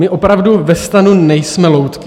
My opravdu ve STANu nejsme loutky.